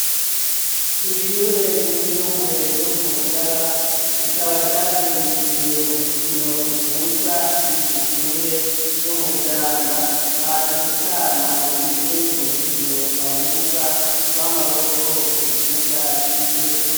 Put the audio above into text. Ishure ryisumbuye ryo ku mugara rikaba ryazindukiye mu rukino ruhuza irindi shure ryo mu vyanda baje gutana mu mitwe mu rukino rubahuza rw'amaboko ku kibuga c'iryo shuri.